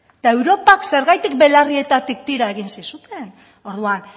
eta europak zergatik belarrietatik tira egin zizuten orduan